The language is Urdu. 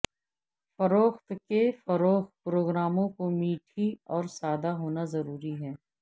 فروخت کے فروغ پروگراموں کو میٹھی اور سادہ ہونا ضروری ہے